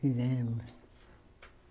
Fizemos.